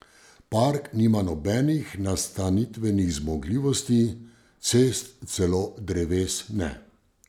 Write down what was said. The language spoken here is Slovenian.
Park nima nobenih nastanitvenih zmogljivosti, cest, celo dreves ne.